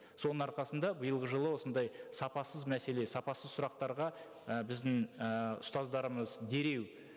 соның арқасында биылғы жылы осындай сапасыз мәселе сапасыз сұрақтарға і біздің ііі ұстаздарымыз дереу